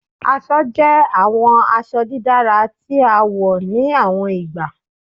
Aṣọ jẹ awọn aṣọ didara ti a wọ ni awọn igba